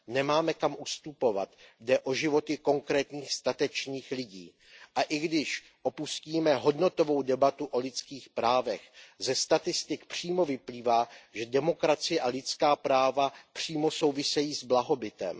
Nemáme kam ustupovat, jde o životy konkrétních statečných lidí, a i když opustíme hodnotovou debatu o lidských právech, ze statistik přímo vyplývá, že demokracie a lidská práva přímo souvisejí s blahobytem.